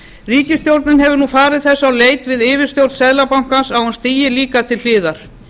ríkisstjórnin hefur nú farið þess á leit við yfirstjórn seðlabankans að hún stígi líka til hliðar